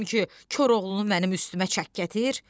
Demədim ki, Koroğlunu mənim üstümə çək gətir!